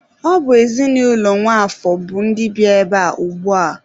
Ọ bụ ezinụlọ Nwafor bụ ndị bi ebea ugbua.